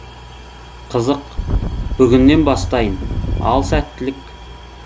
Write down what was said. қызық бүгіннен бастайын ал сәттілік